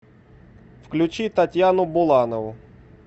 включи татьяну буланову